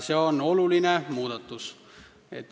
See on oluline muudatus.